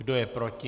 Kdo je proti?